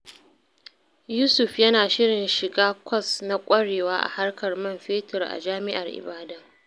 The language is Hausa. Yusuf yana shirin shiga kwas na ƙwarewa a harkar man fetur a Jami’ar Ibadan.